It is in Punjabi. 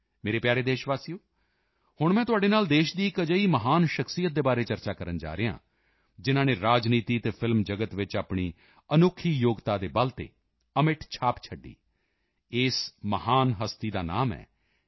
ਮੇਰੇ ਪਿਆਰੇ ਦੇਸ਼ਵਾਸੀਓ ਹੁਣ ਮੈਂ ਤੁਹਾਡੇ ਨਾਲ ਦੇਸ਼ ਦੀ ਇੱਕ ਅਜਿਹੀ ਮਹਾਨ ਸ਼ਖ਼ਸੀਅਤ ਦੇ ਬਾਰੇ ਚਰਚਾ ਕਰਨ ਜਾ ਰਿਹਾ ਹਾਂ ਜਿਨ੍ਹਾਂ ਨੇ ਰਾਜਨੀਤੀ ਅਤੇ ਫਿਲਮ ਜਗਤ ਵਿੱਚ ਆਪਣੀ ਅਨੋਖੀ ਯੋਗਤਾ ਦੇ ਬਲ ਤੇ ਅਮਿੱਟ ਛਾਪ ਛੱਡੀ ਇਸ ਮਹਾਨ ਹਸਤੀ ਦਾ ਨਾਮ ਹੈ ਐੱਨ